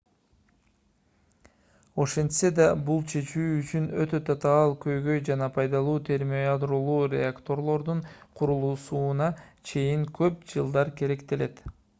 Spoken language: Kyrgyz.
ошентсе да бул чечүү үчүн өтө татаал көйгөй жана пайдалуу термоядролуу реакторлордун курулуусуна чейин көп жылдар керектелет